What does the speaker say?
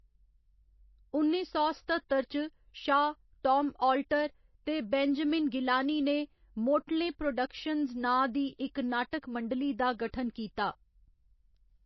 उन्नी सौ सत्ततर च, शाह‌‌, टाम आल्टर ते बेंजामिन गिलानी ने मोटले प्रोडक्शंस नांऽ दी इक नाटक मंडली दा गठन कीता।